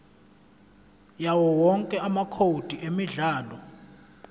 yawowonke amacode emidlalo